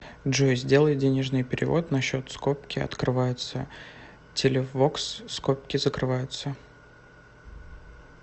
джой сделай денежный перевод на счет скобки открываются телевокс скобки закрываются